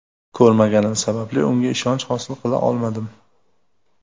Ko‘rmaganim sababli unga ishonch hosil qila olmadim.